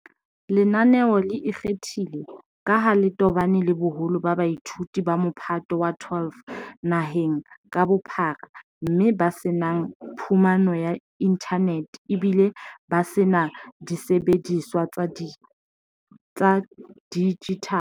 Lenaneo le ikgethile ka ha le tobane le boholo ba baithuti ba Mophato wa 12 naheng ka bophara mme ba se nang phumano ya inthanete ebile ba se na disebediswa tsa dijithale.